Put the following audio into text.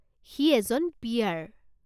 সি এজন পি.আৰ.।